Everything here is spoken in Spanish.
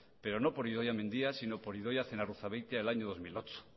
pero no por idoia mendia sino por idoia zenarruzabeitia en el año dos mil ocho